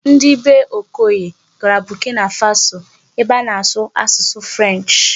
Ndị bee Okoye gara Burkina Faso ebe a na-asụ asụsụ 'French'.